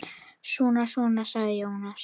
Svona svona, sagði Jónas.